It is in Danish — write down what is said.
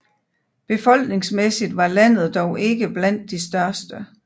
Befolkningsmæssigt var landet dog ikke blandt de største